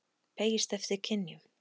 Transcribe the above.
beygist eftir kynjum.